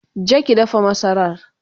je ki dafa masarar!